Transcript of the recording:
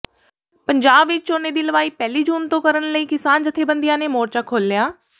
ਪੰਜਾਬ ਵਿਚ ਝੋਨੇ ਦੀ ਲਵਾਈ ਪਹਿਲੀ ਜੂਨ ਤੋਂ ਕਰਨ ਲਈ ਕਿਸਾਨ ਜਥੇਬੰਦੀਆਂ ਨੇ ਮੋਰਚਾ ਖੋਲ੍ਹਿਆ